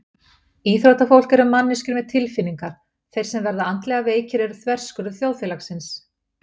Íþróttafólk eru manneskjur með tilfinningar Þeir sem verða andlega veikir eru þverskurður þjóðfélagsins.